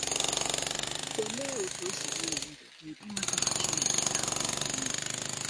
Olee otú ọ si gbanwee ndụ gị ịmata na Chineke na-ahụ ihe niile?